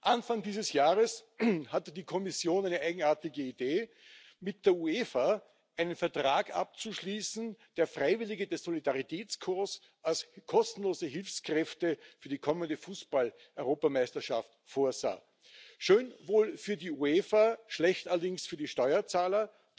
Anfang dieses Jahres hatte die Kommission eine eigenartige Idee, mit der UEFA einen Vertrag abzuschließen, der Freiwillige des Solidaritätskorps als kostenlose Hilfskräfte für die kommende Fußballeuropameisterschaft vorsah. Schön wohl für die UEFA, schlecht allerdings für die Steuerzahler.